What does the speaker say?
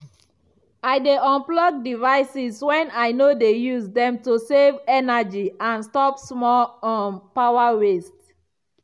i dey unplug devices when i no dey use dem to save energy and stop small um power waste.